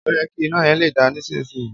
Òyẹ ki ina yẹn le da nisisiyi.